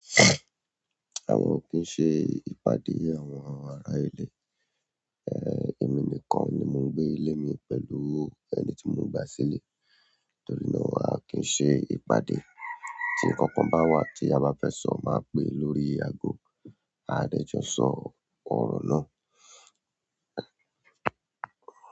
Àwọn ò kí ń ṣe ìpàdé àwọn ará ilé. Èmi nìkan ni mò ń gbé ilé mi pẹ̀lú ẹni tí mò ń gba sílé, torí náà a kì n ṣe ìpàdé. Tí nkankan bá wà tí a bá fẹ́ sọ, máa pé lórí aago, a dẹ́jọ sọ̀rọ̀ ọ̀rọ̀ náà.